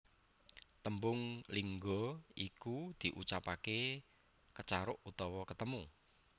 Tembung lingga iku diucapake Kecaruk utawa ketemu